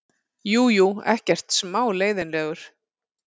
Jú, jú, ekkert smá leiðinlegur.